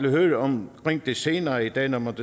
at høre om det senere i dag når man